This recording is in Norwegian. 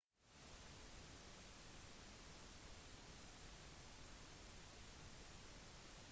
ifølge den amerikanske marinen så etterforsket de også hendelsen